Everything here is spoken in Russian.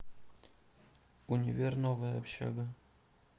универ новая общага